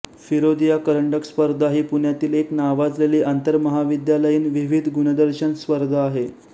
फिरोदिया करंडक स्पर्धा ही पुण्यातली एक नावाजलेली आंतरमहाविद्यालयीन विविध गुणदर्शन स्पर्धा आहे